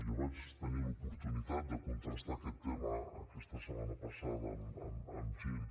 jo vaig tenir l’oportunitat de contrastar aquest tema aquesta setmana passada amb gent